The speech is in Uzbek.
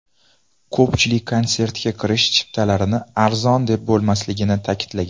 Ko‘pchilik konsertga kirish chiptalarini arzon deb bo‘lmasligini ta’kidlagan.